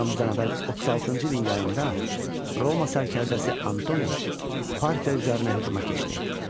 Eramızdan əvvəl 36-cı ilin yayında Roma sərkərdəsi Antoni Parfiya üzərinə hücuma keçdi.